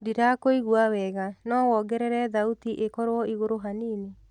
ndĩrakũĩgũa wega no wongerere thaũtĩ ĩkorwo ĩgũrũ hanĩnĩ